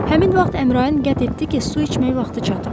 Həmin vaxt Əmrain qət etdi ki, su içmək vaxtı çatıb.